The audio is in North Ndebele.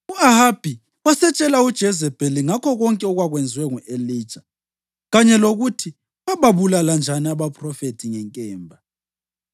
U-Ahabi wasetshela uJezebheli ngakho konke okwakwenziwe ngu-Elija kanye lokuthi wababulala njani abaphrofethi ngenkemba.